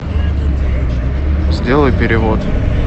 сделай перевод